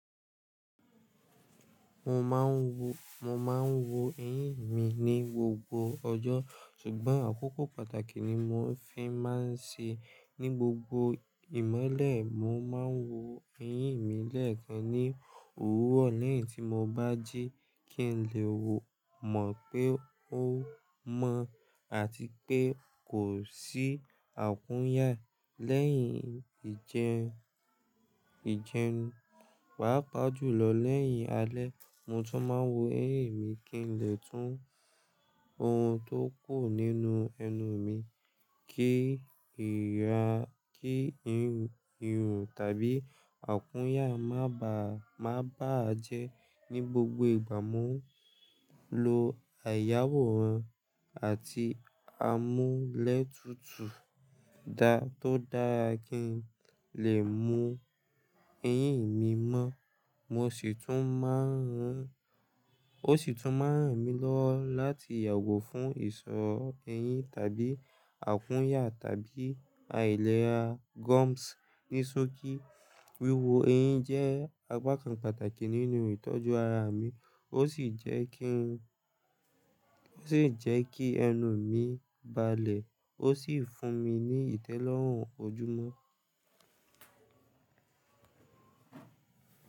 Mo máa ń wo, mo máa ń wo eyín mi ní gbogbo ọjọ́, ṣùgbọ́n àkókò pàtàkì ni mo fi máa ń ṣe. Ní gbogbo ìmọ́lẹ̀, mo máa ń wo eyín mi lẹ́ẹ̀kan ní òwúro ni Ti mo bá jí, kí n lè wò mọ̀ pé ó mọ́ àti pé kò sí àkúnyà. Lẹ́yìn ìjẹun, papàjúlo. Lẹ́yìn alẹ́, mo tún máa ń wo eyín mi kí n lè tún ohun tó kò nínú ẹnu mi. Kí ìra, kí irun tàbí àkúnyà má bà á jẹ́. Ní gbogbo ìgbà, mo ń lo àyàwọ̀ran àti amúlẹ́tutù dá tó dára kí n lè mú eyín mi mọ́. Mo sì tún máa ń rìn, o sì tún máa ń rìn mí lọ láti yàgò fún ìṣọ eyín tàbí àkúnyà tàbí àìlera gums. Ní sókí, wiwo eyín jẹ́ àpá kan pàtàkì nínú ìtọ́jú ara mi. O sì jẹ́ kí, o sì jẹ́ kí ẹnu mi bàlẹ̀, o sì fún mi ní ìtẹ́lọ́rùn ojúmọ́.